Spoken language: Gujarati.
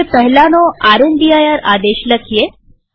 હવે પહેલાનો રામદીર આદેશ લખીએ